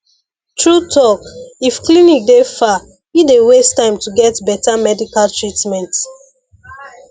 true talk if clinic dey far e dey waste time to take get better medical treatment